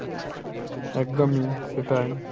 একদমই, সেটাই।